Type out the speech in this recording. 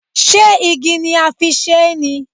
Ṣé igi ni a fi ṣe é ni?